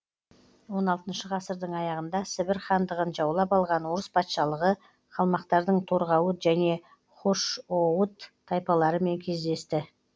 он алтыншы ғасырдың аяғында сібір хандығын жаулап алған орыс патшалығы қалмақтардың торғауыт және хошоуыт тайпаларымен кездесті